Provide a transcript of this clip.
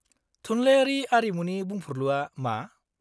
-थुनलायारि आरिमुनि बुंफुरलुआ मा?